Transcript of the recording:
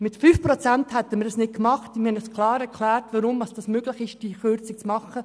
Mit 5 Prozent hätten wir das nicht getan, und wir haben Ihnen klar erklärt, weshalb diese Kürzung möglich wäre.